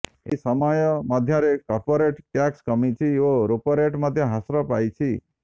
ଏହି ସମୟ ମଧ୍ୟରେ କର୍ପୋରେଟ ଟ୍ୟାକ୍ସ କମିଛି ଓ ରେପୋରେଟ ମଧ୍ୟ ହ୍ରାସ ପାଇଛି